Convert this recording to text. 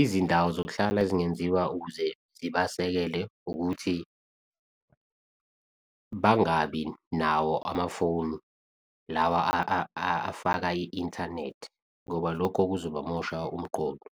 izindawo zokuhlala ezingenziwa ukuze zibasekele ukuthi bangabi nawo amafoni lawa afaka i-inthanethi ngoba lokho kuzoba mosha umqondo.